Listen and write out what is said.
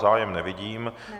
Zájem nevidím.